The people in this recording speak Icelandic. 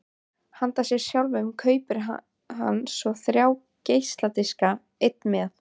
Handa sér sjálfum kaupir hann svo þrjá geisladiska: einn með